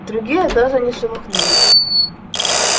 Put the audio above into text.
другие даже не шелохнулись